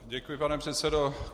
Děkuji, pane předsedo.